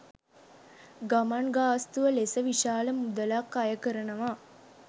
ගමන් ගාස්තුව ලෙස විශාල මුදලක් අයකරනවා.